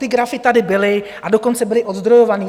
Ty grafy tady byly, a dokonce byly ozdrojované.